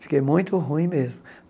Fiquei muito ruim mesmo.